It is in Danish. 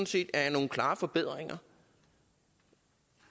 set er nogle klare forbedringer